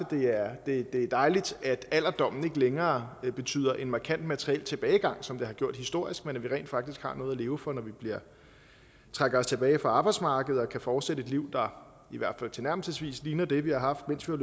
det er dejligt at alderdommen ikke længere betyder en markant materiel tilbagegang som den har gjort historisk men at vi rent faktisk har noget at leve for når vi trækker os tilbage fra arbejdsmarkedet og kan fortsætte et liv der i hvert fald tilnærmelsesvis ligner det vi har haft mens vi